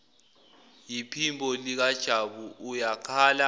yiphimbo likajabu uyakhala